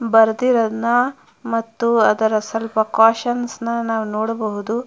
ಬರದಿರೋದನ್ ಮತ್ತು ಅದರ ಸ್ವಲ್ಪ ಕೊಶ್ಚನ್ಷ್ ನಾವು ನೋಡಬಹುದು.